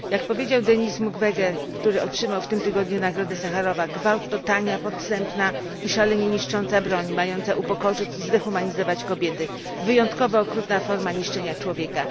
Jak powiedział Denis Mukwege, który otrzymał w tym tygodniu Nagrodę Saharowa, gwałt to tania, dostępna i szalenie niszcząca broń, mająca upokorzyć i zdehumanizować kobiety, wyjątkowo okrutna forma zniszczenia człowieka.